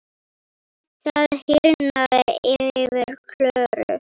Það hýrnar yfir Klöru.